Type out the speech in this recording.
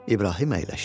İbrahim əyləşdi.